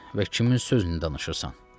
Və kimin sözünü danışırsan?